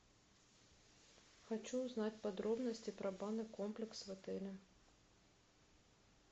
хочу узнать подробности про банный комплекс в отеле